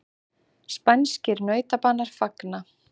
Spænskir nautabanar fagna